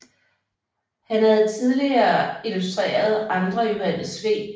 Han havde tidligere illustreret andre Johannes V